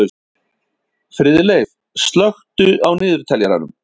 Friðleif, slökktu á niðurteljaranum.